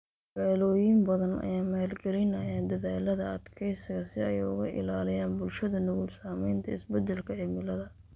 Magaalooyin badan ayaa maalgalinaya dadaallada adkeysiga si ay uga ilaaliyaan bulshada nugul saameynta isbedelka cimilada.